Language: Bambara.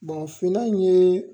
finna in ye